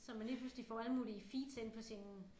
Så man lige pludselig får alle mulige feeds ind på sine